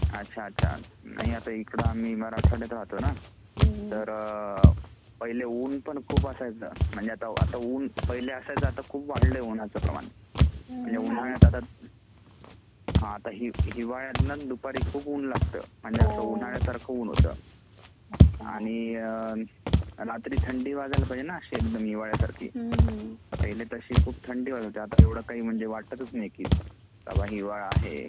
अच्छा अच्छा ! नाही आता आम्ही इकडे मराठवाड्यात राहतो ना तर पहिले ऊन पण खूप असायचा म्हणजे आता ऊन पहिले असायचा पण आता खूप वाढला आहे ऊनचा प्रमाण आता उन्हळ्यात आता हिवाळ्यात ना दुपारी खूप ऊन लागत म्हणजे असा उन्हळ्या सारखं ऊन होता आणि रात्री थंडी वाजायला पाहजे ना अशी एकदम हिवल्यासारखी पहिले अशी थंडी वाजायची आता तर असा वाटतच नाही कि बाबा हिवाळा आहे.